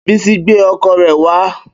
Bísí gbé ọkọ̀ rẹ̀ wá